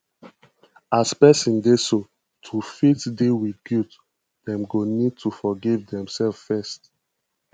as person dey so to fit deal with guilt dem go need to forgive dem self first